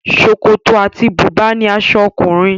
Ṣòkòtò àti bùbá ni aṣọ ọkùnrin.